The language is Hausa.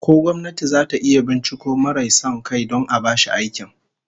Ko gwamnati zata iya binciko marai son kai don a bashi aikin?